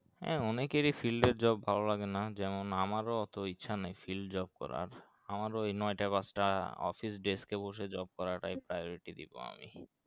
হ্যাঁ অনেকেরই field এর job ভালো লাগে না যেমন আমারও অতো ইচ্ছা নাই field job করার আমার ও নয় টা দশ টা office desk এ বসে job করা টাই priority দিবো আমি